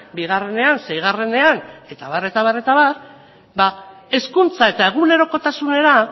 bienean seienean eta abarrean hezkuntza eta egunerokotasuna